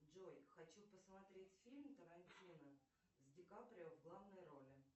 джой хочу посмотреть фильм тарантино с дикаприо в гланой роли